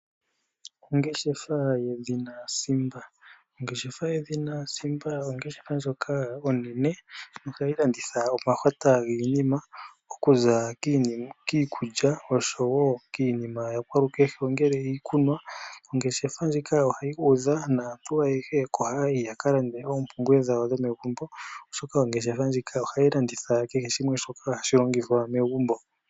Ongeshefa yedhina Simba Ongeshefa yedhina Simba ongeshefa ndjoka onene nohayi landitha omahwata giinima okuza kiikulya noshowo iinima ya kwalukehe ngaashi iikunwa. Ongeshefa ndjika ohayi udha naantu ayehe oko haya yi ya ka lande oompumbwe dhawo dhomegumbo, oshoka ohayi landitha kehe shimwe shoka hashi longithwa megumbo.